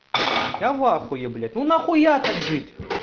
я в ахуе блять ну нахуя так жить